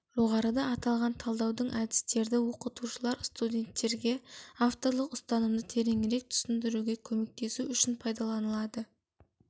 жоғарыда аталған талдаудың әдістерді оқытушылар студенттерге авторлық ұстанымды тереңірек түсіндіруге көмектесу үшін пайдаланады